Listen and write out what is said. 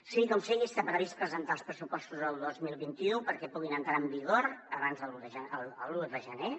sigui com sigui està previst presentar els pressupostos del dos mil vint u perquè puguin entrar en vigor l’un de gener